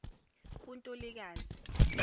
kuntulikazi